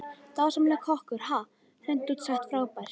Dásamlegur kokkur, ha, hreint út sagt frábær.